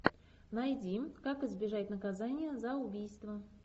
найди как избежать наказания за убийство